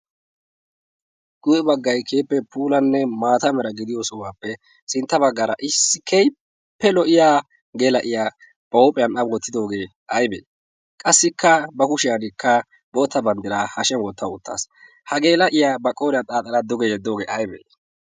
guye baggay keeppe puulanne maata mera gidiyo sohuwaappe sintta baggaara issi kehippe lo'iya geela'iya ba huuphiyan abuwottidoogee aibee qassikka ba kushiyankka bootta banddiraa hashiyan wottawu ottaas ha geela'iyaa ba qooriyaa xaaxaladdoge yeddoogee aybee?